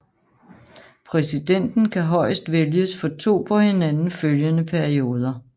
Præsidenten kan højst vælges for to på hinanden følgende perioder